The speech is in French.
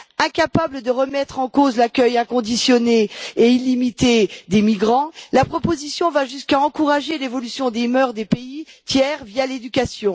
Incapable de remettre en cause l'accueil inconditionnel et illimité des migrants, la proposition va jusqu'à encourager l'évolution des mœurs des pays tiers via l'éducation.